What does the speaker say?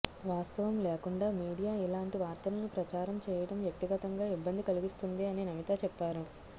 వాస్తవం లేకుండా మీడియా ఇలాంటి వార్తలను ప్రచారం చేయడం వ్యక్తిగతంగా ఇబ్బంది కలిగిస్తుంది అని నమిత చెప్పారు